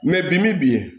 mɛ bimi bi